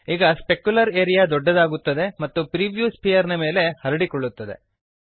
ಈಗ specular area ದೊಡ್ಡದಾಗುತ್ತದೆ ಮತ್ತು ಪ್ರಿವ್ಯೂ ಸ್ಫಿಯರ್ ನ ಮೇಲೆ ಹರಡಿಕೊಳ್ಳುತ್ತದೆ